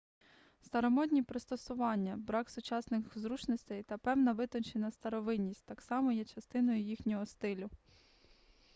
старомодні пристосування брак сучасних зручностей та певна витончена старовинність так само є частиною їхнього стилю